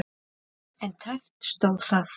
En tæpt stóð það.